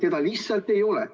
Teda ju lihtsalt nagu ei ole.